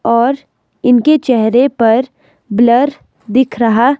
और इनके चेहरे पर ब्लर दिख रहा--